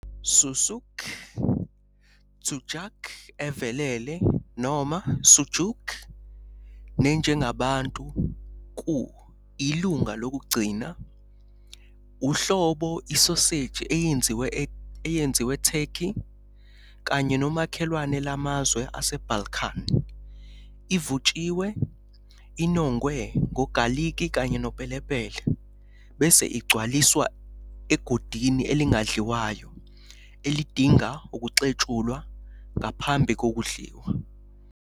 Sucuk, tsudjuck evelele noma sujuk ne njengabantu ku ilunga lokugcina, uhlobo isoseji eyenziwe Turkey kanye nomakhelwane lamazwe aseBalkan. Ivutshiwe, inongwe, ngogaliki kanye nopelepele, bese igcwaliswa egodini elingadliwayo elidinga ukuxetshulwa ngaphambi kokudliwa.